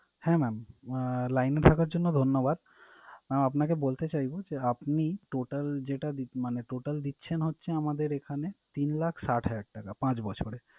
হ্যাঁ mam আহ line এ থাকার জন্য ধন্যবাদ। আপনাকে বলতে চাইবো যে, আপনি total যেটা দি~ মানে total দিচ্ছেন হচ্ছে আমাদের এখানে তিন লাখ ষাট হাজার টাকা পাঁচ বছরে।